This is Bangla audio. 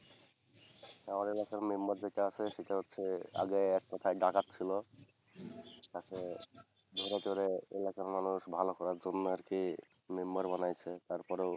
আমার এলাকার member যেটা আছে আগে এক কথায় ডাকাত ছিল। তাকে ধরে ধরে এলাকার মানুষ ভালো করার জন্য আর কি member, বানাইছে তারপর।